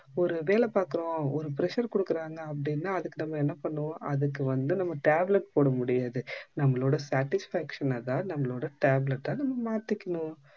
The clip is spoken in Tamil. ஒரு வேல பாக்குறோம் ஒரு pressure குடுக்குறாங்க அப்படினா அதுக்கு நம்ம என்ன பண்ணுறோம் அதுக்கு வந்து நம்ம tablet போட முடியாது நம்மளோட satisfaction தான் நம்மளோட tablet அ நம்ம மாத்திக்கனும்